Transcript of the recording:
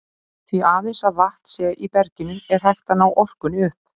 Því aðeins að vatn sé í berginu er hægt að ná orkunni upp.